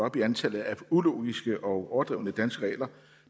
op i antallet af ulogiske og overdrevne danske regler